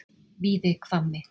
Víðihvammi